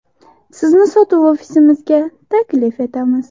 Sizni sotuv ofisimizga taklif etamiz.